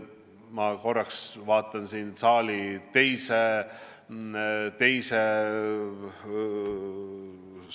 Ma korraks vaatan siin Urve Palo poole.